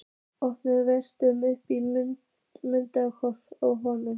Orðin velktust uppi í munninum á honum.